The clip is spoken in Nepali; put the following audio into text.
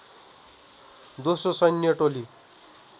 दोस्रो सैन्य टोली